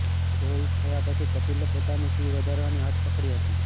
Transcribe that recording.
show hit થયા પછી કપિલે પોતાની ફી વધારવાની હઠ પકડી હતી